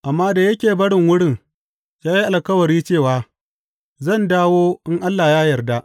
Amma da yake barin wurin, ya yi alkawari cewa, Zan dawo in Allah ya yarda.